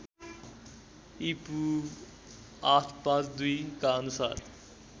ईपू ८५२ का अनुसार